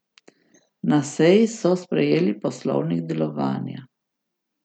Na seji so sprejeli poslovnik delovanja.